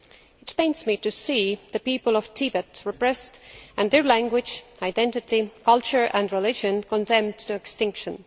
It pains me to see the people of Tibet repressed and their language, identity, culture and religion condemned to extinction.